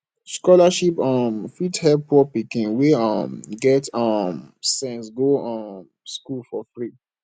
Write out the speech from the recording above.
scholarship um fit help poor pikin wey um get um get sense go um school for free